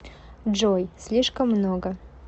джой слишком много